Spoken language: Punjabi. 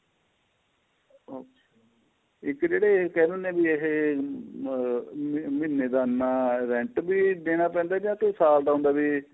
ਇੱਕ ਜਿਹੜੇ ਏਹ ਕਹਿ ਦਿੰਨੇ ਏਹ ਆਹ ਮਹੀਨੇ ਦਾ ਏਨਾ rent ਵੀ ਦੇਣਾ ਪੈਂਦਾ ਜਾਂ ਕੋਈ ਸਾਲ ਦਾ ਹੁੰਦਾ ਵੀ